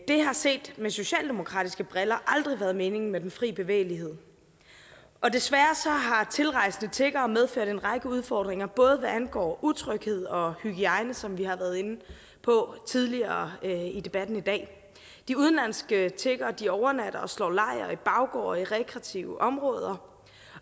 det har set med socialdemokratiske briller aldrig været meningen med den fri bevægelighed og desværre har tilrejsende tiggere medført en række udfordringer både hvad angår utryghed og hygiejne som vi har været inde på tidligere i debatten i dag de udenlandske tiggere overnatter og slår lejr i baggårde og i rekreative områder